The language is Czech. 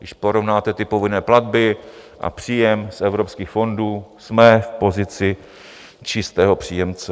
Když porovnáte povinné platby a příjem z evropských fondů, jsme v pozici čistého příjemce.